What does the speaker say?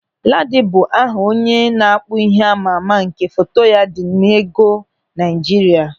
Ladi bụ aha onye na-akpụ ihe amaama nke foto ya dị n'ego Naịjirịa.